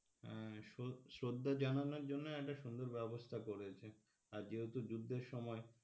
হম শ্রদ্ধা শ্রদ্ধা জানানোর জন্যই একটা সুন্দর ব্যবস্থা করেছে আর যেহেতু যুদ্ধের সময়